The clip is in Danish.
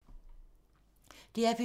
DR P2